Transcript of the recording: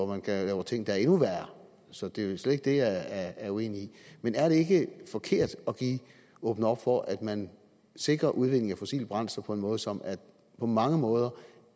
man laver ting der er endnu værre så det er slet ikke det jeg er uenig i men er det ikke forkert at åbne op for at man sikrer udvinding af fossile brændsler på en måde som på mange måder